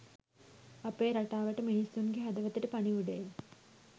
අපේ රටාවට මිනිසුන්ගේ හදවතට පණිවිඩය